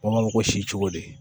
Baganko si cogo di